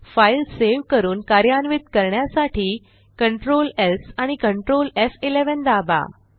file save करून कार्यान्वित करण्यासाठी Ctrl स् आणि Ctrl एफ11 दाबा